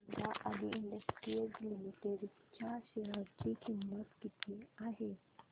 सांगा Adi industries limited च्या share ची किंमत किती आहे